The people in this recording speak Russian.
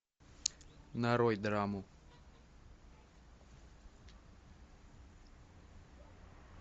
нарой драму